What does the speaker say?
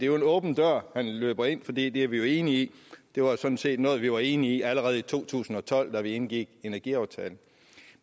jo en åben dør man løber ind fordi det er vi jo enige i det var sådan set noget vi var enige i allerede i to tusind og tolv da vi indgik energiaftalen